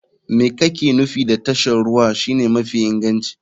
Me kake nufi da tashar ruwa shine mafi inganci?